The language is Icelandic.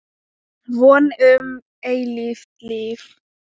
Von um eilíft líf.